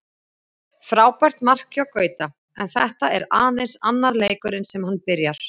Frábært mark hjá Gauta, en þetta er aðeins annar leikurinn sem hann byrjar.